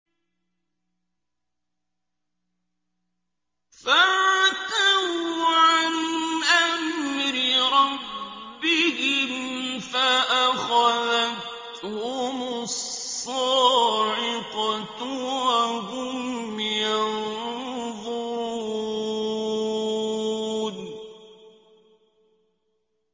فَعَتَوْا عَنْ أَمْرِ رَبِّهِمْ فَأَخَذَتْهُمُ الصَّاعِقَةُ وَهُمْ يَنظُرُونَ